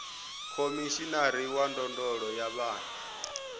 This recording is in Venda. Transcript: khomishinari wa ndondolo ya vhana